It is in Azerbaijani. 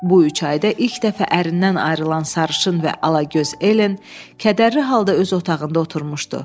Bu üç ayda ilk dəfə ərindən ayrılan sarışın və ala göz Ellen, kədərli halda öz otağında oturmuşdu.